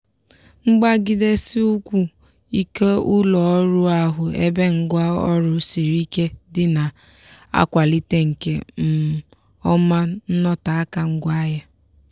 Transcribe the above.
mgbagidesi ụkwụ ike ụlọ orụ ahụ ebe ngwa ọrụ siri ike dị na-akwalite nke um ọma nnọteaka ngwaahịa.